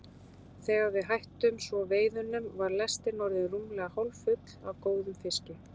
Þegar við hættum svo veiðunum var lestin orðin rúmlega hálffull af góðum fiski.